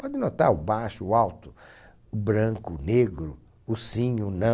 Pode notar o baixo, o alto, o branco, o negro, o sim e o